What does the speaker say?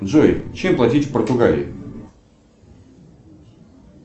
джой чем платить в португалии